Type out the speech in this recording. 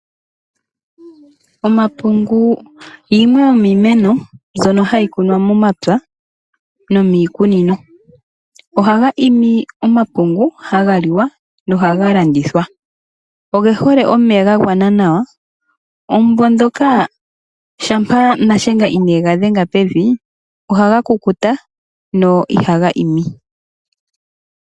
Omapungu yimwe yomiimeno mbyono hayi kunwa momapya nomiikunino. Ohaga imi omapungu ngono haga liwa nohaga landithwa. Oge hole omeya ga gwana nawa. Omumvo ndoka shampa Nashenga ineega dhenga pevi ohaga kukuta na ihaga imi.